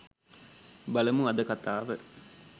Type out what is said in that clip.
බලමු අද කතාව